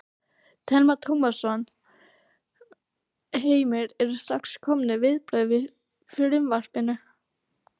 Telma Tómasson: Heimir, eru strax komin viðbrögð við frumvarpinu?